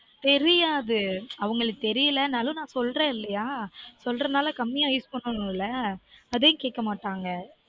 தெரியாது அவங்களுக்கு தெரிலனாலும் நான் சொல்றன் இல்லயா சொல்றனால கம்மியா use பண்ணுமில்ல அதே கேக்க மாட்டங்க